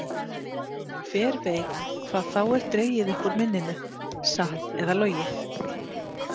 Hver veit hvað þá er dregið upp úr minninu, satt eða logið?